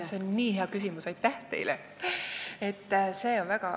See on hea küsimus, aitäh teile!